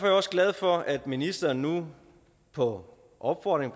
jeg også glad for at ministeren nu på opfordring